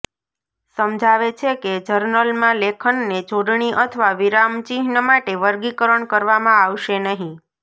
સમજાવે છે કે જર્નલમાં લેખનને જોડણી અથવા વિરામચિહ્ન માટે વર્ગીકરણ કરવામાં આવશે નહીં